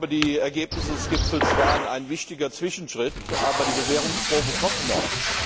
Die Ergebnisse des Gipfels waren ein wichtiger Zwischenschritt, aber die Bewährungsprobe kommt noch.